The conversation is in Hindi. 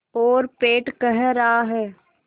और पेट कह रहा है